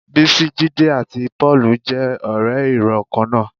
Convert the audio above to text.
Bísí, Jídé àti Pọ́ọ̀lù jẹ́ ọ̀rẹ́ ìrọ̀ kan náà